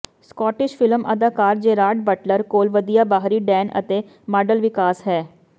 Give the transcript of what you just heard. Scottish film ਅਦਾਕਾਰ Gerard Butler ਕੋਲ ਵਧੀਆ ਬਾਹਰੀ ਡੈਨ ਅਤੇ ਮਾਡਲ ਵਿਕਾਸ ਹੈ